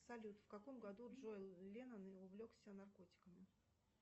салют в каком году джон ленон увлекся наркотиками